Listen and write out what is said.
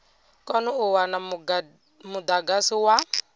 kone u wana mudagasi wa